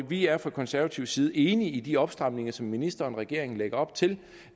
vi er fra konservativ side enige i de opstramninger som ministeren og regeringen lægger op til